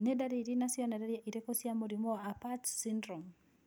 Nĩ ndariri na cionereria irĩkũ cia mũrimũ wa Apert syndrome?